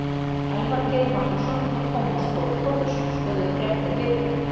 Elvar Geir Magnússon og Tómas Þór Þórðarson skoðuðu fréttir vikunnar.